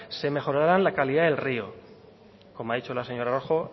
se mejorará la calidad del rio como ha dicho la señora rojo